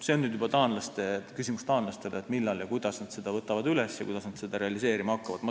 See on nüüd juba küsimus taanlastele, millal ja kuidas nad selle üles võtavad ja seda realiseerima hakkavad.